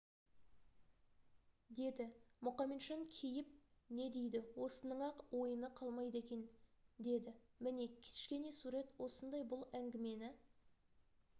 деді мұқаметжан кейіп не дейді осының-ақ ойыны қалмайды екен деді міне кішкене сурет осындай бұл әңгімені